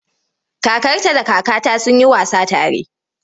Kakarta da kakata sun yi wasa tare.